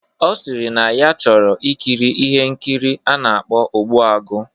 Ọ sịrị na ya chọrọ ikiri ihe nkiri a na-akpọ "Ogbuagu"